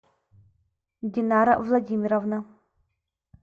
динара владимировна